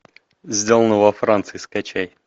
сделано во франции скачай